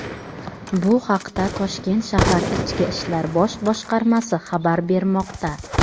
Bu haqda toshkent shahar Ichki ishlar bosh boshqarmasi xabar bermoqda.